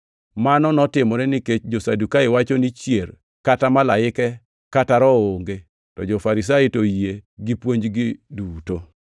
(Mano notimore nikech jo-Sadukai wacho ni chier, kata malaike kata Roho onge, to jo-Farisai to oyie gi puonjgi duto.)